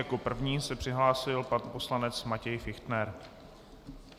Jako první se přihlásil pan poslanec Matěj Fichtner.